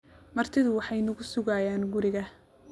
Martidu waxay nagu sugayaan guriga